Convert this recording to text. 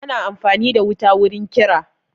Ana amfani da wuta wurin kira